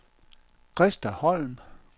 Krista Holm